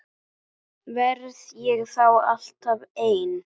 Verð ég þá alltaf ein?